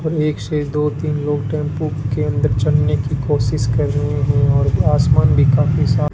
और एक से दो तीन लोग टेंपू के अन्दर चढ़ने की कोशिश कर रहे हैं और आसमान भी काफी साफ --